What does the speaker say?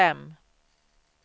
fem